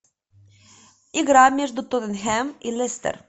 игра между тоттенхэм и лестер